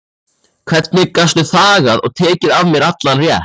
Hvernig gastu þagað og tekið af mér allan rétt?